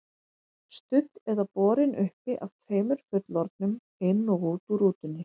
Studd eða borin uppi af tveimur fullorðnum, inn og út úr rútunni.